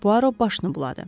Poirot başını buladı.